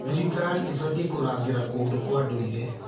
Thirikari ĩbatiĩ kũrangĩra kũndũ kwa ndũire.